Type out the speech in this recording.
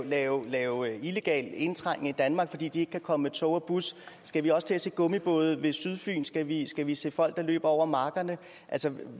lave lave illegal indtrængen i danmark fordi de ikke kan komme med tog og bus skal vi også til at se gummibåde ved sydfyn skal vi skal vi se folk der løber over markerne altså